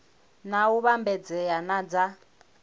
na u vhambedzea na dza